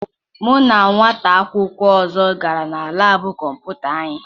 Mụ na nwata akwụkwọ ọzọ gara na laabụ kọmputa anyị.